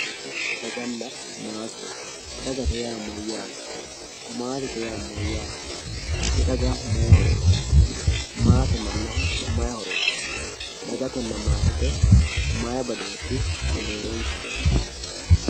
Daganna maatte, dagatte yaa mayate, maattette yaa mayatte, daga mayi horo uyitanno, maatte manaho mayi horo uuyitano, dagatenna maattette mereeronsa mayi badooshi no